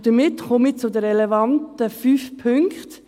Damit komme ich zu den relevanten fünf Punkten.